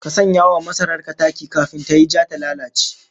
Ka sanya wa masarar ka taki kafin tayi ja ta lalace